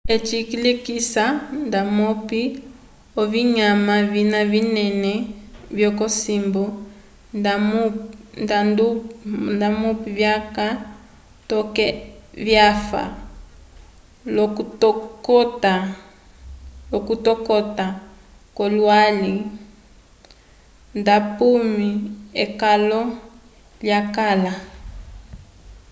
eci cilekisa ndamupi ovinyanma vina vinene vyokosimbo ndamupi vyaka toke vyafa lokutokota kwolwali ndamupi ekalo lyakala